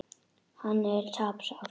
Hann er tapsár.